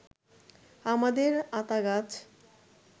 আমাদের আতা গাছ